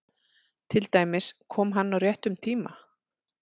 Til dæmis: Kom hann á réttum tíma?